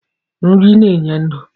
Nri na-enye ndụ.